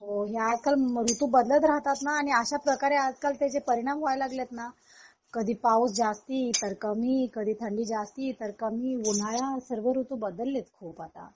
हो हे आजकाल ऋतू बदलत राहतात आणि अश्या प्रकारे आजकाल त्याचे परिणाम व्हायला लागले ना कधी पाऊस जास्ती तर कमी कधी थंडी जास्ती तर कमी उन्हाळा सर्व ऋतू बदलेत खूप आता